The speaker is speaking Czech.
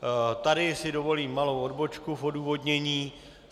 Tady si dovolím malou odbočku v odůvodnění.